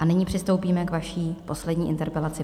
A nyní přistoupíme k vaší poslední interpelaci.